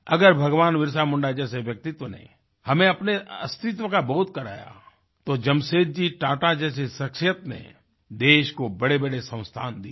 अगर भगवान बिरसा मुंडा जैसे व्यक्तित्व ने हमें अपने अस्तित्व का बोध कराया तो जमशेदजी टाटा जैसी शख्सियत ने देश को बड़ेबड़े संस्थान दिए